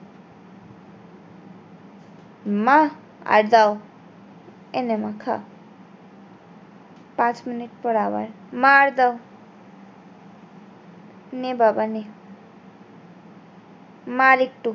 মা আর দাও, এই নে মা খা পাঁচ মিনিট পর আওয়াজ মা আর দাও নে বাবা নে, মা আরেকটু